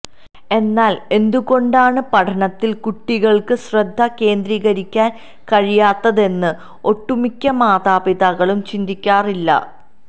എന്നാല് എന്തുകൊണ്ടാണ് പഠനത്തില് കുട്ടികള്ക്ക് ശ്രദ്ധ കേന്ദ്രീകരിക്കാന് കഴിയാത്തതെന്ന് ഒട്ടുമിക്ക മാതാപിതാക്കളും ചിന്തിക്കാറില്ല